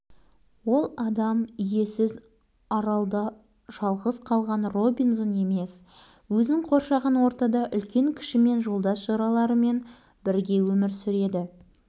бауыржан туралы менің жазғандарымның бәрі рас адамда бір-ақ өмір болады еңдеше жазушы басты геройын сол адамдармен